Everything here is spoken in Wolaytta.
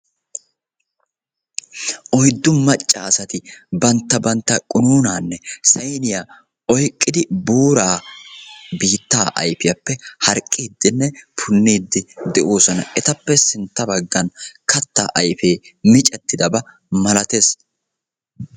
Oyddu maaccasati bantta bantta qunuunanne saynniya oyqqidi buuraa, biitta ayfiyappe harqqidenne puunide doosona. Etappe sintta baggan kattaa ayge miccetidaaba malatees.